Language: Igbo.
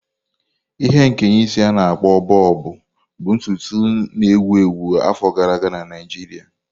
Ihe nkeye isi a-na akpo Bọbụ bụ ntutu isi na-ewu ewu afọ gara aga na Naijiria.